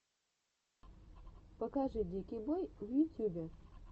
покажи дикий бой в ютюбе